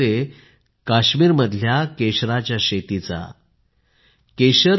खरंतर ते काश्मीरमध्ये केशराच्या शेतीचा उल्लेख करत होते